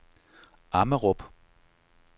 Ammerup